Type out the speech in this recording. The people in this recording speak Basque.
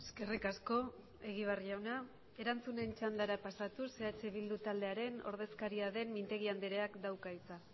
eskerrik asko egibar jauna erantzunen txandara pasatuz eh bildu taldearen ordezkaria den mintegi andreak dauka hitza